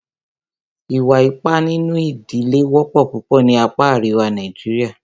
Ìwà ipá nínú ìdílé wọ́pọ̀ púpọ̀ ní apá àríwá Nàìjíríà.